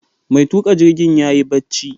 Mai tuƙa jirgin yayi barci